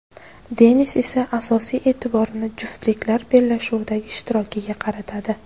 Denis esa asosiy e’tiborini juftliklar bellashuvidagi ishtirokiga qaratadi.